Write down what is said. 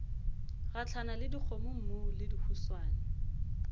gahlana le dikgomommuu le dihuswane